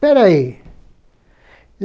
Peraí.